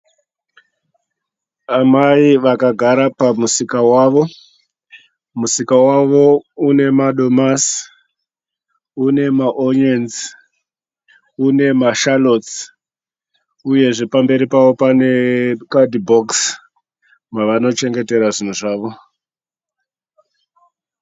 Amai vakagara pamusika wavo. Musika wavo une madomasi, unema onyeni une mashalotsi, uye pamberi pavo pane kadhibhokisi ravanochengetera zvinhu zvavo.